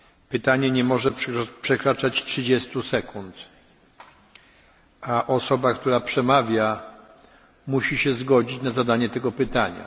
Pytanie nie może przekraczać 30 sekund, a osoba, która przemawia, musi się zgodzić na zadanie tego pytania.